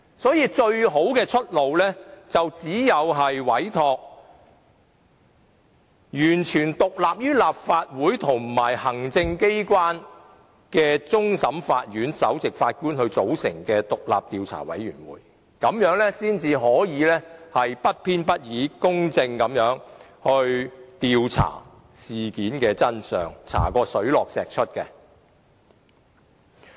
因此，最好的出路便是委托完全獨立於立法會和行政機關的終審法院首席法官組成獨立的調查委員會，這樣才可不偏不倚、公正地調查事件的真相，讓事件水落石出。